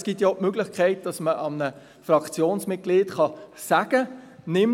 Es gibt ja auch die Möglichkeit, dass man einem Fraktionsmitglied sagen kann: